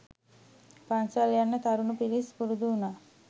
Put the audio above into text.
පන්සල් යන්න තරුණ පිරිස් පුරුදු වුණා